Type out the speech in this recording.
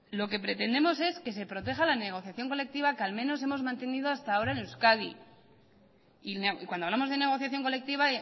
lo que pretendemos es que se proteja la negociación colectiva que al menos hemos mantenido hasta ahora en euskadi y cuando hablamos de negociación colectiva